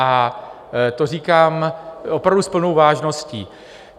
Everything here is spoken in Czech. A to říkám opravdu s plnou vážností.